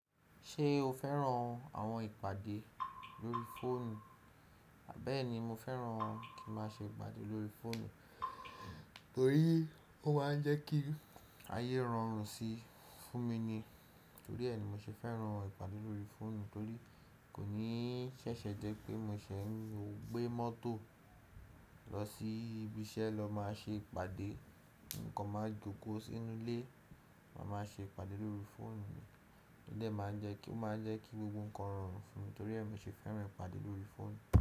Ṣé o fẹ́ràn àwọn ìpàdé lórí fóònù? Bẹ́ẹ̀ni, mo fẹ́ràn kí ma ṣe ìpàdé lórí fóònù. Ó rí, ó máa ń jẹ́ kí ayé rọrùn sí fún mi ni. Torí ẹ ni mo ṣe fẹ́ràn ìpàdé lórí fóònù torí kò ní ṣẹ̀ṣẹ̀ jẹ́ pé mo ṣe ń gbé mọ́tò lọ sí ibi iṣẹ́ lọ máa ṣe ìpàdé. Ǹkan máa jókòó sínú ilé, màá má ṣe ìpàdé lórí fóònù. O dè máa ń jẹ́ kí ó máa jẹ́ kí gbogbo ǹkan rọrùn fún mi torí ẹ mi ṣe fẹ́ràn ìpàdé lórí fóònù.